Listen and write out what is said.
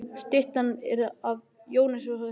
Styttan er af Jóni. Jón er frægur maður.